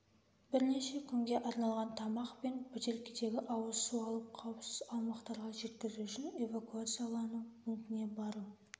бірнеше күнге арналған тамақ пен бөтелкедегі ауыз су алып қауіпсіз аумақтарға жеткізу үшін эвакуациялану пунктіне бару